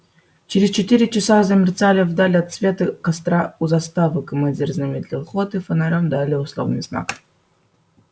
через четыре часа замерцали вдали отсветы костра у заставы командир замедлил ход и фонарём дал условный знак